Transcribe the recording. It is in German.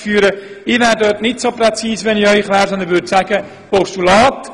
Ich wäre hier nicht so präzise, wenn ich Sie wäre, sondern würde ein Postulat vorziehen.